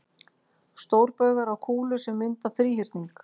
Stórbaugar á kúlu sem mynda þríhyrning.